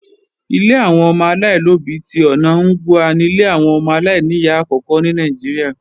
Ilé àwọn ọmọ aláìlóbí tí ọ̀na Ngwa ni ilé àwọn ọmọ aláìníyá àkókò ní Nàìjíríà